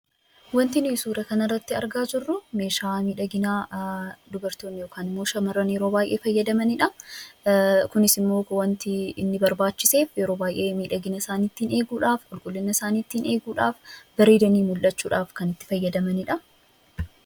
Wanti nuti suura kana irratti argaa jirru meeshaa miidhaginaa dubartoonni yookiin shamarran yeroo baay'ee fayyadamanidha. Kunis immoo miidhagina isaanii ittiin eeguudhaaf, bareedanii mul'achuudhaaf kan itti fayyadamanidha.